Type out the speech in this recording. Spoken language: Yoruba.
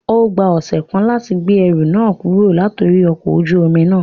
O gba ọsẹ kan lati gbe ẹru náà kuro latori ọkọ ojú omi na